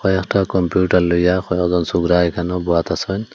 একটা কম্পিউটার লইয়া কয়েকজন সোকরা এখানেও বোয়াতাসে।